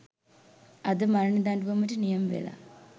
අද මරණ දඬුවමට නියමවෙලා